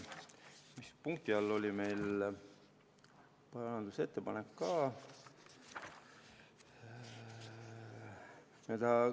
Mis punkti all oli meil parandusettepanek?